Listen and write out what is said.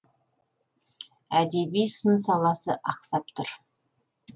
әдеби сын саласы ақсап тұр